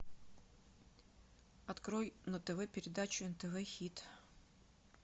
открой на тв передачу нтв хит